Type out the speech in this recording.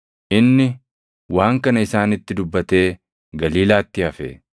Inni waan kana isaanitti dubbatee Galiilaatti hafe.